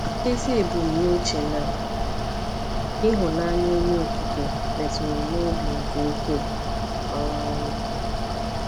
Ezi ebumnuche na ịhụnanya Onye Okike metụrụ m n’obi nke ukwuu. um